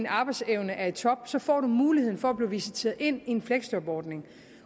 arbejdsevnen er i top så får man muligheden for at blive visiteret ind i en fleksjobordning